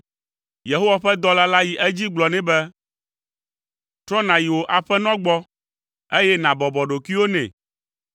Yehowa ƒe dɔla la yi edzi gblɔ nɛ be, “Trɔ nàyi wò aƒenɔ gbɔ, eye nàbɔbɔ ɖokuiwò nɛ,